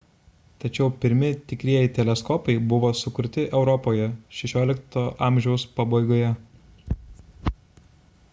tačiau pirmi tikrieji teleskopai buvo sukurti europoje xvi a pabaigoje